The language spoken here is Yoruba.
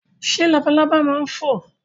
Ṣé labalábá ma ń fò?